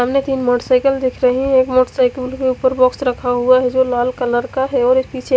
सामने तिन मोटरसाइकल दिख रही है मोटरसाइकल के उपर बॉक्स रखा हुआ है जो लाल कलर का है और एक पीछे--